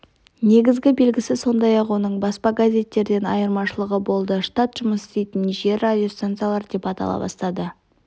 негізгі белгісі сондай-ақ оның баспа газеттерден айырмашылығы болды штат жұмыс істейтін жер радиостанциялар деп атала бастайды